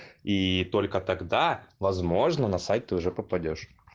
и только тогда возможно на сайт ты уже попадёшь